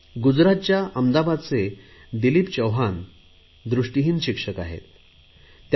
गुजरातच्या अहमदाबादचे दिलीप चौहान दृष्टीहीन शिक्षक आहेत ते